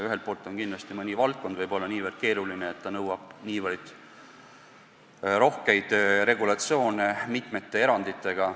Ühelt poolt on kindlasti mõni valdkond nii keeruline, et see nõuab rohkeid regulatsioone mitmete eranditega.